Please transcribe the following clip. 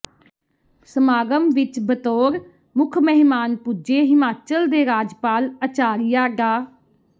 ਸਮਾਗਮ ਵਿੱਚ ਬਤੌਰ ਮੁੱਖ ਮਹਿਮਾਨ ਪੁੱਜੇ ਹਿਮਾਚਲ ਦੇ ਰਾਜਪਾਲ ਆਚਾਰੀਆ ਡਾ